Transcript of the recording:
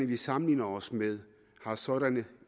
vi sammenligner os med har sådanne